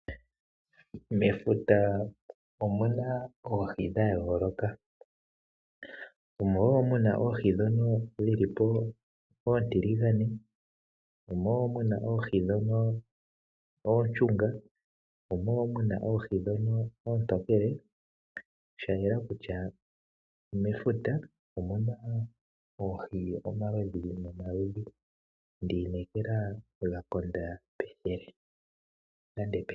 Mefuta omuna Oohi dha yooloka. Omo wo muna Oohi dhono dhili po oontiligane. Omo wo muna Oohi dhono ooshunga. Omo wo muna Oohi dhono oontokele, sha yela kutya mefuta omuna Oohi omaludhi no maludhi. Ndi inekela ga konda pethele.